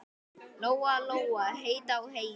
Lóa-Lóa leit á Heiðu.